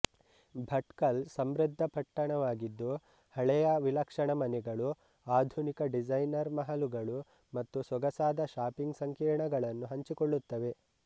ಭಟ್ಕಲ್ ಸಮೃದ್ಧ ಪಟ್ಟಣವಾಗಿದ್ದು ಹಳೆಯ ವಿಲಕ್ಷಣ ಮನೆಗಳು ಆಧುನಿಕ ಡಿಸೈನರ್ ಮಹಲುಗಳು ಮತ್ತು ಸೊಗಸಾದ ಶಾಪಿಂಗ್ ಸಂಕೀರ್ಣಗಳನ್ನು ಹಂಚಿಕೊಳ್ಳುತ್ತವೆ